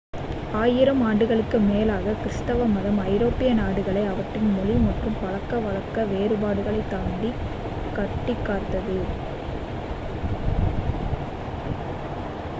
ஆயிரம் ஆண்டுகளுக்கு மேலாக கிருஸ்துவ மதம் ஐரோப்பிய நாடுகளை அவற்றின் மொழி மற்றும் பழக்கவழக்க வேறுபாடுகளைத் தாண்டி கட்டிக்காத்தது